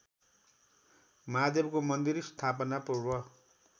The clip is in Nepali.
महादेवको मन्दिर स्थापनापूर्व